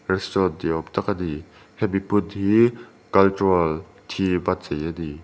restaurant ni awm tak a ni hemi hmun hi cultural theme a chei a ni.